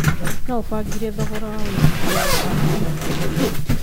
no ũbangĩre thogora wa wĩigĩthĩa wa apple ĩhĩndainĩ rĩu